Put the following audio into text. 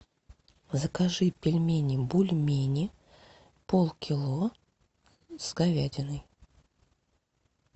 закажи пельмени бульмени полкило с говядиной